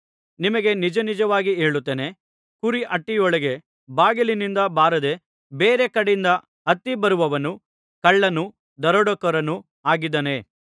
ನಿಮಗೆ ನಿಜನಿಜವಾಗಿ ಹೇಳುತ್ತೇನೆ ಕುರಿಹಟ್ಟಿಯೊಳಗೆ ಬಾಗಿಲಿನಿಂದ ಬಾರದೆ ಬೇರೆ ಕಡೆಯಿಂದ ಹತ್ತಿ ಬರುವವನು ಕಳ್ಳನೂ ದರೋಡೆಕೋರನೂ ಆಗಿದ್ದಾನೆ